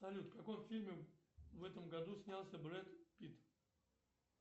салют в каком фильме в этом году снялся брэд питт